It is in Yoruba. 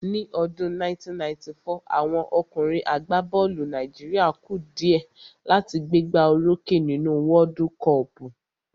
Ní ọdún 1994, àwọn ọkùnrin àgbá bọ́ọ̀lù Nàìjíríà ku dìẹ́ láti gbé gbá o rókè nínú wọ́ọ́dú kọọ̀pù